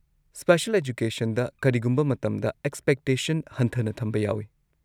Special ꯑꯦꯖꯨꯀꯦꯁꯟꯗ ꯀꯔꯤꯒꯨꯝꯕ ꯃꯇꯝꯗ ꯑꯦꯛꯁꯄꯦꯛꯇꯦꯁꯟ ꯍꯟꯊꯅ ꯊꯝꯕ ꯌꯥꯎꯏ꯫